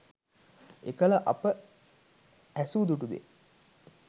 එකල අප ඇසූ දුටු දේ